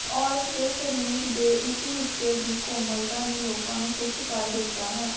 ਔਰਤ ਦੇ ਸਰੀਰ ਦੇ ਇਸ ਹਿੱਸੇ ਦੀ ਕੋਮਲਤਾ ਨੇ ਲੋਕਾਂ ਨੂੰ ਖੁਸ਼ ਕਰ ਦਿੱਤਾ ਹੈ